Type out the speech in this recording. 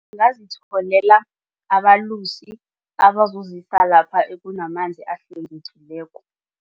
Ngingazitholela abalusi abazozisa lapha kunamanzi ahlwengekileko.